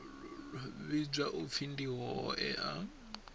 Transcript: vhidzwa u pfi ndi hoea